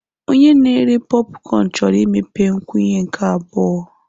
Onye na-ere pọpụcọn chọrọ imepe nkwụnye nke abụọ.